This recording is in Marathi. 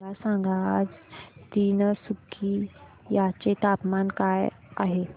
मला सांगा आज तिनसुकिया चे तापमान काय आहे